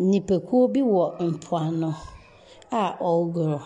Nnipakuo bi wɔ mpoano a wɔregoro.